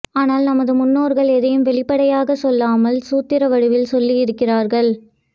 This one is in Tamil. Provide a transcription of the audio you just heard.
ஆனால் நமது முன்னோர்கள் எதையும் வெளிப்படையாக சொல்லாமல் சூத்திர வடிவில் சொல்லியிருக்கிறார்கள்